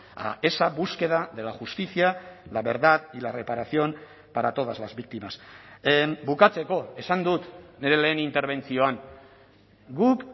a esa búsqueda de la justicia la verdad y la reparación para todas las víctimas bukatzeko esan dut nire lehen interbentzioan guk